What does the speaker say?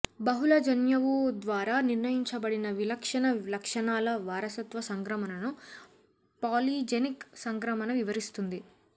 బహుళ జన్యువు ద్వారా నిర్ణయించబడిన విలక్షణ లక్షణాల వారసత్వ సంక్రమణను పాలిజెనిక్ సంక్రమణ వివరిస్తుంది